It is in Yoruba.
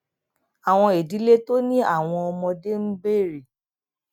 àwọn ìdílé tó ní àwọn ọmọdé ń béèrè